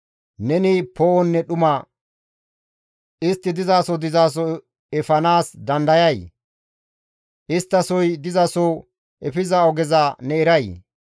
Neni poo7onne dhuma istti dizaso dizaso efanaas dandayayii? Isttasoy dizaso efiza ogeza ne eray?